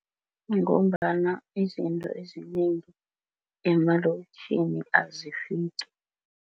Ngombana izinto ezinengi emalokitjhini azifiki.